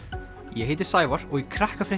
ég heiti Sævar og í